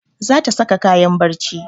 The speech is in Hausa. Za ta saka kayan barci